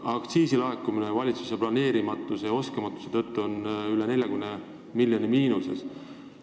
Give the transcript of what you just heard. Aktsiisilaekumine aga on valitsuse oskamatuse tõttu hästi planeerida rohkem kui 40 miljoni euroga miinuses.